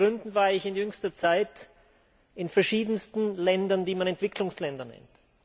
Aus verschiedensten Gründen war ich in jüngster Zeit in verschiedensten Ländern, die man Entwicklungsländer nennt.